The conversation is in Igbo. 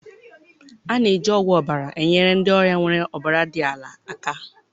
A na-eji ogwu ọbara enyere ndị ọrịa nwere ọbara dị ala aka.